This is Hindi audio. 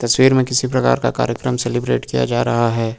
तस्वीर में किसी प्रकार का कार्यक्रम सेलिब्रेट किया जा रहा है।